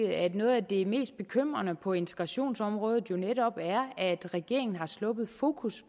at noget af det mest bekymrende på integrationsområdet øjeblikket netop er at regeringen har sluppet fokus